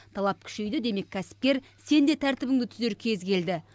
талап күшейді демек кәсіпкер сен де тәртібіңді түзер кез келді